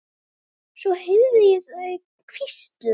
Svo heyrði ég þau hvísla.